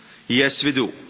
Yes, we do.